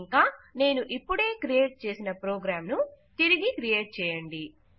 ఇంకా నేను ఇప్ప్పుడే క్రియేట్ చేసిన ప్రోగ్రాం ను తిరిగి క్రియేట్ చేయండి